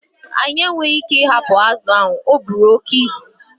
Anyị enweghị ike ịhapụ azụ ahụ, ọ buru oke ibu.